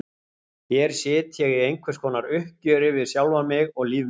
Hér sit ég í einhvers konar uppgjöri við sjálfan mig og líf mitt.